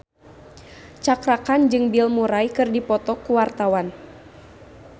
Cakra Khan jeung Bill Murray keur dipoto ku wartawan